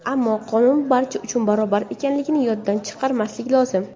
Ammo, qonun barcha uchun barobar ekanligi yoddan chiqarmaslik lozim.